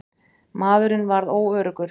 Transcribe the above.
Maðurinn varð óöruggur.